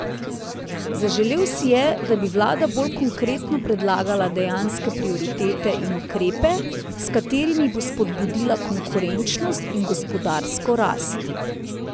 Zaželel si je, da bi vlada bolj konkretno predlagala dejanske prioritete in ukrepe, s katerimi bo spodbudila konkurenčnost in gospodarsko rast.